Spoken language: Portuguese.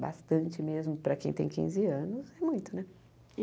Bastante mesmo, para quem tem quinze anos, é muito, né?